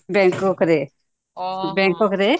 bangkok ରେ bangkok ରେ